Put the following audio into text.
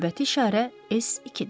Növbəti işarə S2-dir.